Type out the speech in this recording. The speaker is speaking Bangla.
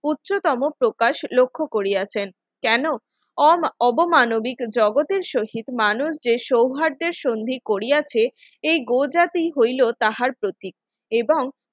উচ্চতম প্রকাশ লক্ষ্য করিয়াছেন কেন অবমানবিক জগতের শহীদ মানুষ যে সৌহার্দের সন্ধি করিয়াছে এই গোজাতি হইল তাহার প্রতীক এবং